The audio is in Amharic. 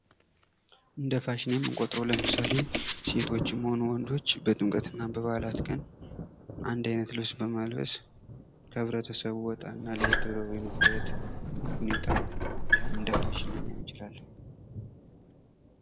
እንደ ፋሽን የምንቆጥሩው ለምሳሌ ሴቶችም ሆኑ ወንዶች በጥምቀት እና በበአላት ቀን አንድ አይነት ልብስ በማልበስ ከህብረተሰቡ ወጣ እና ለየት ብሎ የመታየት ሁኔታ ያን እንደ ፋሽን ልናየው እንችላለን ።